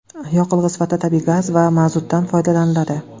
Yoqilg‘i sifatida tabiiy gaz va mazutdan foydalaniladi.